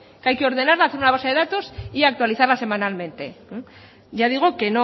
que hay que ordenarla hacer una base de datos y actualizarla semanalmente ya digo que